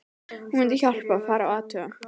Hún mundi hjálpa, fara og athuga